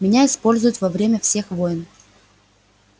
меня используют во время всех войн